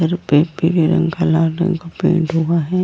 घर पे पीले रंग का लाल रंग का पेंट हुआ है।